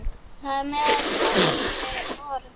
Þar á meðal þessi orð.